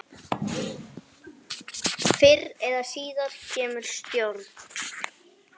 Fyrr eða síðar kemur stjórn.